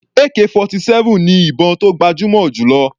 Ak-47 ni ìbọn tó gbajúmọ̀ jù lọ.